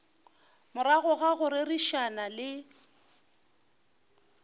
morago ga go rerišana le